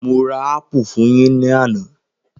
Mo ra ápù fún yín ní àná.